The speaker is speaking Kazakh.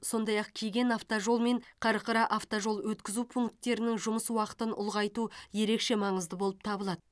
сондай ақ кеген автожол мен қарқыра автожол өткізу пункттерінің жұмыс уақытын ұлғайту ерекше маңызды болып табылады